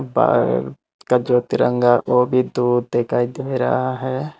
भारत का जो तिरंगा वह भी भी दो दिखाई दे रहा है।